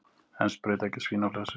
Enn sprautað gegn svínaflensu